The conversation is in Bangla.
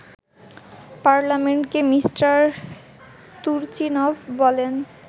পার্লামেন্টকে মিষ্টার তুর্চিনভ বলেন